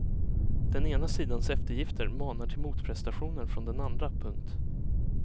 Den ena sidans eftergifter manar till motprestationer från den andra. punkt